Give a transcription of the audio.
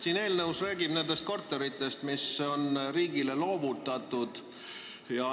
Selles eelnõus räägitakse korteritest, mis on riigile loovutatud.